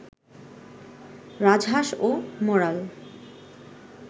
রাজহাঁস ও মরাল